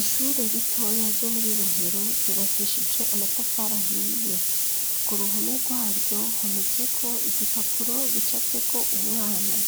ishure ritoya ryo muri rohero ryubakishije amatafara hiye ku ruhume rwaryo hometse ko igipapuro gicavye ko umwana